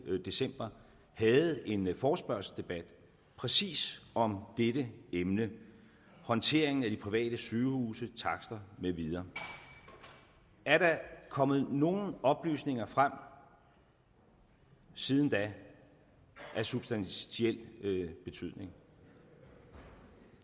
december havde en forespørgselsdebat præcis om dette emne håndteringen af de private sygehuse takster med videre er der kommet nogen oplysninger frem siden da af substantiel betydning